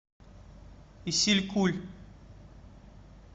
исилькуль